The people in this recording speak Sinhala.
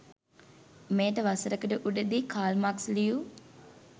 මෙයට වසරකට උඩදී කාල් මාක්ස් ලියූ